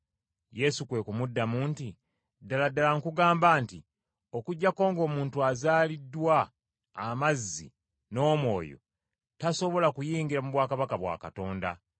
Yesu kwe kumuddamu nti, “Ddala ddala nkugamba nti, Okuggyako ng’omuntu azaaliddwa amazzi n’Omwoyo tasobola kuyingira mu bwakabaka bwa Katonda.